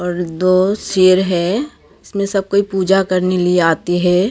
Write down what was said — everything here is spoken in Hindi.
और दो शेर हैं उसमे सब कोई पूजा करने लिए आते हैं।